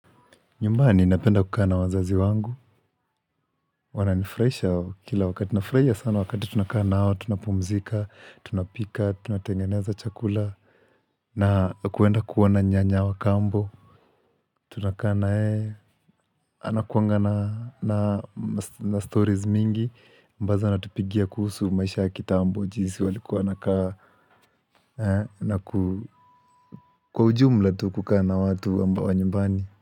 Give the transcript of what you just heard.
Nyumbani napenda kukaa na wazazi wangu. Wananifurahisha kila wakati. Nafurahisha sana wakati tunakaa na wao. Tunapumzika, tunapika, tunatengeneza chakula. Na kuenda kuona nyanya wa kambo. Tunakaa na yeye. Anakuanga na stories mingi. Ambazo anatupigia kuhusu maisha ya kitambo. Jinsi waliku wanakaa. Na kwa ujumla tu kukaa na watu wa nyumbani.